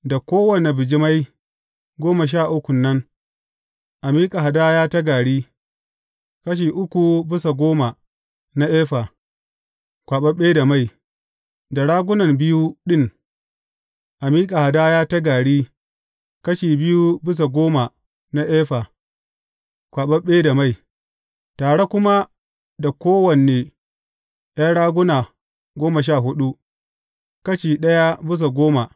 Da kowane bijimai goma sha uku nan, a miƙa hadaya ta gari, kashi uku bisa goma na efa, kwaɓaɓɓe da mai; da ragunan biyu ɗin, a miƙa hadaya ta gari kashi biyu bisa goma na efa, kwaɓaɓɓe da mai; tare kuma da kowane ’yan raguna goma sha huɗu, kashi ɗaya bisa goma.